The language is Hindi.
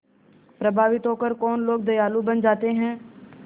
प्रभावित होकर कौन लोग दयालु बन जाते हैं